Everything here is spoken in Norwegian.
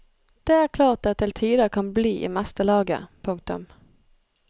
Det er klart det til tider kan bli i meste laget. punktum